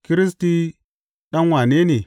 Kiristi ɗan wane ne?